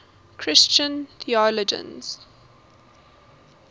christian theologians